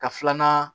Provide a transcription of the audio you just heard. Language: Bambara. Ka filanan